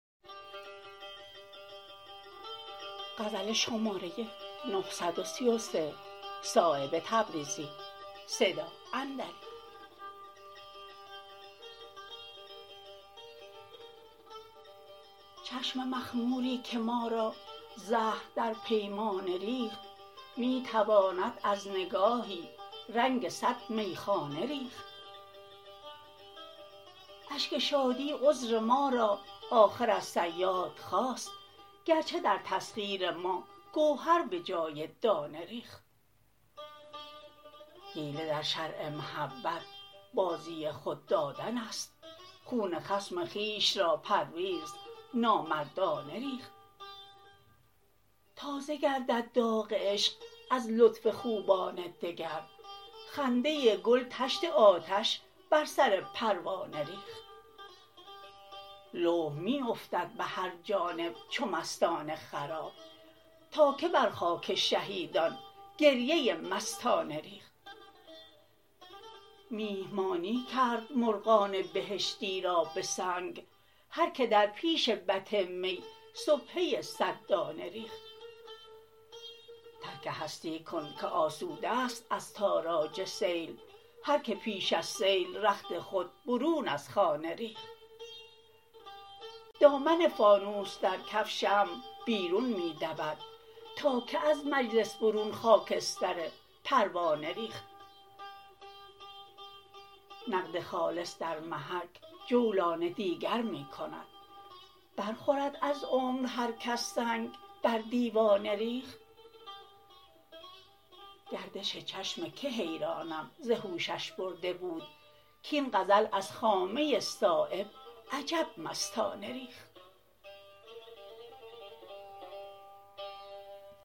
چشم مخموری که ما را زهر در پیمانه ریخت می تواند از نگاهی رنگ صد میخانه ریخت اشک شادی عذر ما را آخر از صیاد خواست گرچه در تسخیر ما گوهر به جای دانه ریخت حیله در شرع محبت بازی خود دادن است خون خصم خویش را پرویز نامردانه ریخت تازه گردد داغ عشق از لطف خوبان دگر خنده گل طشت آتش بر سر پروانه ریخت لوح می افتد به هر جانب چو مستان خراب تا که بر خاک شهیدان گریه مستانه ریخت میهمانی کرد مرغان بهشتی را به سنگ هر که در پیش بط می سبحه صد دانه ریخت ترک هستی کن که آسوده است از تاراج سیل هر که پیش از سیل رخت خود برون از خانه ریخت دامن فانوس در کف شمع بیرون می دود تا که از مجلس برون خاکستر پروانه ریخت نقد خالص در محک جولان دیگر می کند برخورد از عمر هر کس سنگ بر دیوانه ریخت گردش چشم که حیرانم ز هوشش برده بود کاین غزل از خامه صایب عجب مستانه ریخت